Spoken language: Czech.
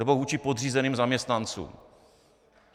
Nebo vůči podřízeným zaměstnancům.